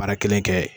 Baara kelen kɛ